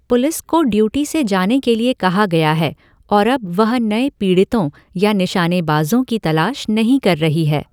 Police को duty से जाने के लिए कहा गया है और अब वह नए पीड़ितों या निशानेबाजों की तलाश नहीं कर रही है।